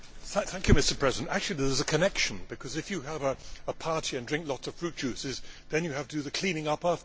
Mr President, actually there is a connection, because if you have a party and drink lots of fruit juices, then you have to do the cleaning up afterwards.